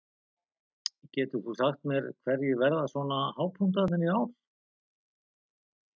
Getur þú sagt mér hverjir verða svona hápunktarnir í ár?